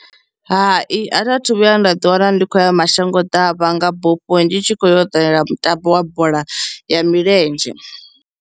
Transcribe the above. Hai, a thi a thu vhuya nda ḓi wana ndi khou ya mashango ḓavha nga bufho ndi tshi khou yo ṱalela mutambo wa bola ya milenzhe.